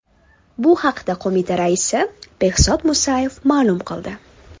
Bu haqda qo‘mita raisi Behzod Musayev ma’lum qildi .